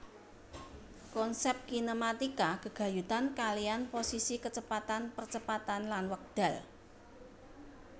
Konsep kinematika gegayutan kaliyan posisi kecepatan percepatan lan wekdal